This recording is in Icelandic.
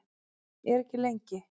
En ekki lengi.